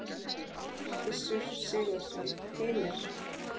Gissur Sigurðsson: Heimir?